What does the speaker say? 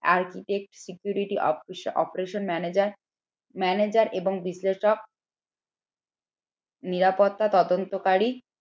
architect security ope operation manager, manager এবং বিশ্লেষক নিরাপত্তা তদন্তকারী